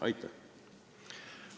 Aitäh!